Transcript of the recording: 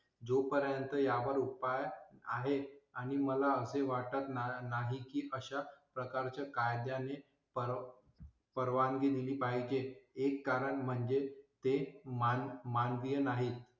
जोपर्यंत यावर उपाय आहे आणि मला असे वाटत ना नाही की अशा प्रकारच्या कायद्या ने परवा परवानगी दिली पाहिजे. एक कारण म्हणजे ते मान मानवी नाहीत